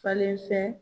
Falenfɛn